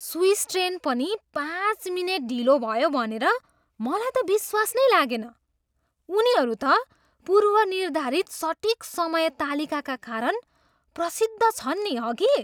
Swiss train पनि पाँच minute ढिलो भयो भनेर मलाई त विश्वास नै लागेन, उनीहरू त पूर्वनिर्धारित सटिक समय तालिकाका कारण प्रसिद्ध छन् नि, हगि?